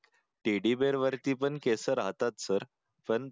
teddy bear वरती पण केस राहतात सर पण